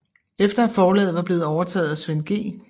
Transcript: Efter at forlaget var blevet overtaget af Svend G